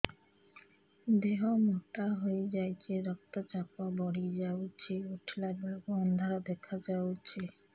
ଦେହ ମୋଟା ହେଇଯାଉଛି ରକ୍ତ ଚାପ ବଢ଼ି ଯାଉଛି ଉଠିଲା ବେଳକୁ ଅନ୍ଧାର ଦେଖା ଯାଉଛି